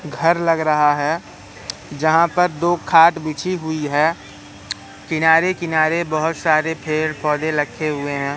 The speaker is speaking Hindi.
घर लग रहा है जहां पर दो खाट बिछी हुई है किनारे किनारे बहोत सारे पेड़ पौधे रखे हुए हैं।